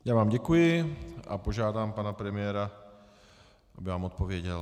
Já vám děkuji a požádám pana premiéra, aby vám odpověděl.